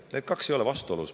Need kaks asja ei ole vastuolus.